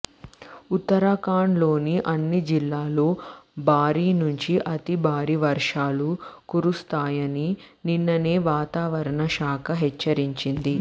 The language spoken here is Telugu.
ఉత్తరాఖండ్ లోని అన్ని జిల్లాల్లో భారీ నుంచి అతి భారీ వర్షాలు కురుస్తాయని నిన్ననే వాతావరణ శాఖ హెచ్చరించింది